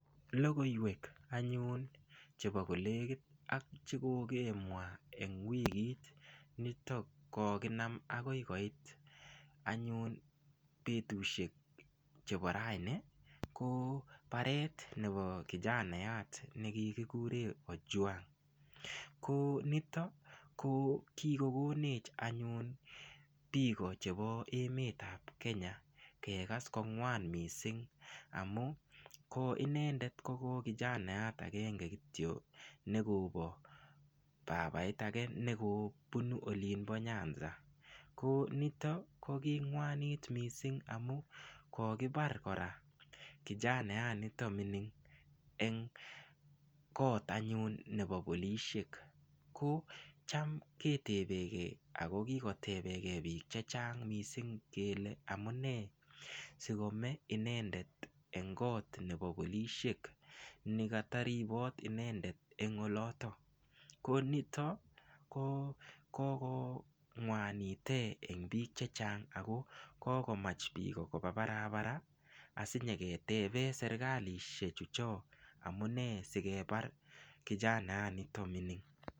Lokoiwek anyun chebo kolekit ak cheko kokemwa eng wikit nitok kokinam akoi koit anyun betushek chebo raini ko baret nebo kijanayat nekikikure Ojwang ko nito ko kikokonech anyun biko chebo emet ap Kenya kekas ko ng'wan mising amu ko inendet koko kijanayat akenge kityo nekobo babait age nekobunu olin bo nyanza ko nitok ko kingwanit mising amu kokibar kora kijanayat nito mining eng koot anyun nebo polishek ko cham ketebeke ako kikotebeke biik che chang mising kele amune sikome inendet eng koot nebo polishek nikataribot inendet eng oloto ko nito ko kokongwanite eng biik che chang ako kokomach biko koba parapara asinyeketebe serikalishe chu cho amune sikebar kijanayat nito mining.